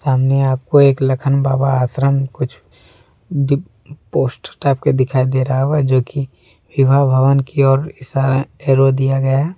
सामने आपको एक लखन बाबा आश्रम कुछ पोस्ट टाइप का दिखाई दे रहा होगा जो कि विभा भवन की ओर इशारा एयरो दिया गया है।